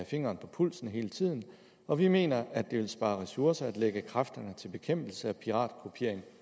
fingeren på pulsen hele tiden og vi mener at det vil spare ressourcer at lægge kræfterne til bekæmpelse af piratkopiering